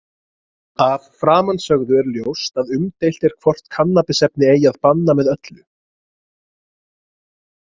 Af framansögðu er ljóst að umdeilt er hvort kannabisefni eigi að banna með öllu.